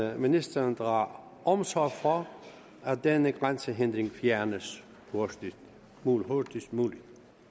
at ministeren drager omsorg for at denne grænsehindring fjernes hurtigst muligt